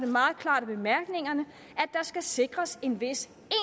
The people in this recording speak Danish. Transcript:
meget klart af bemærkningerne at der skal sikres en vis